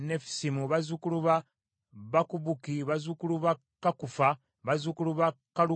bazzukulu ba Bakubuki, bazzukulu ba Kakufa, bazzukulu ba Kalukuli,